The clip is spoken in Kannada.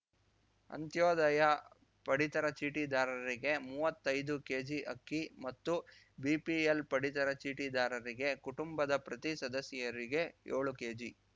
ಅಂತ್ಯೋದಯ ಪಡಿತರ ಚೀಟಿದಾರರಿಗೆ ಮುವ್ವತ್ತೈದು ಕೆಜಿಅಕ್ಕಿ ಮತ್ತು ಬಿಪಿಎಲ್‌ ಪಡಿತರ ಚೀಟಿದಾರರಿಗೆ ಕುಟುಂಬದ ಪ್ರತಿ ಸದಸ್ಯರಿಗೆ ಯೋಳು ಕೆಜಿ